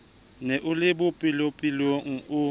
ne o le bolepolepo o